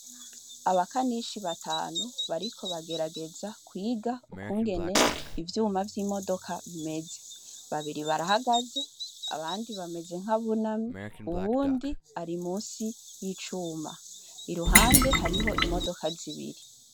Abakanishi batanu bariko bagerageza kwiga ukungene ivyuma vy’imodoka bimeze, babiri barahagaze abandi bameze nk’abunamye uwundi ari musi y’icuma i ruhande hariho imodoka zibiri.